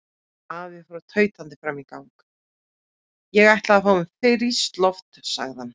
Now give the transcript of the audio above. Afi fór tautandi fram í gang: Ég ætla að fá mér frískt loft sagði hann.